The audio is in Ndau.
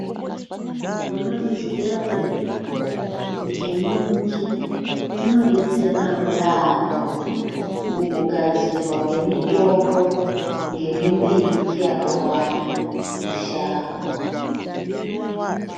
Munozviziya ere kuti nyuchi dzinodetserawo yaambo mukugadzirwa kwemitombo ngemimbiti yakawanda mushango.